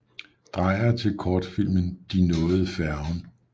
Dreyer til kortfilmen De nåede færgen